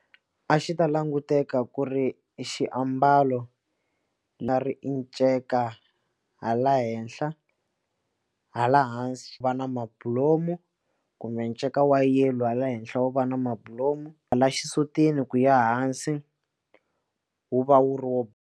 A xi ta languteka ku ri xiambalo nga ri i nceka hala henhla hala hansi xi va na mabulomu kumbe nceka wa yellow hala henhla wo va na mabulomu hala xisutini ku ya hansi wu va wu ri .